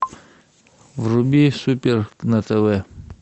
вруби супер на тв